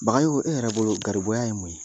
Bagayogo, e yɛrɛ bolo garibuya ye mun ye?